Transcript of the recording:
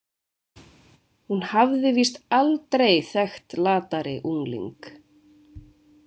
Hún hafði víst aldrei þekkt latari ungling.